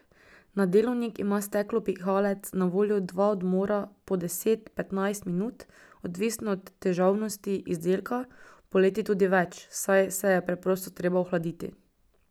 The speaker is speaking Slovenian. Na delovnik ima steklopihalec na voljo dva odmora po deset, petnajst minut, odvisno od težavnosti izdelka, poleti tudi več, saj se je preprosto treba ohladiti.